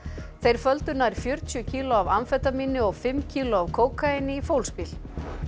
þeir földu nær fjörutíu kíló af amfetamíni og fimm kíló af kókaíni í fólksbíl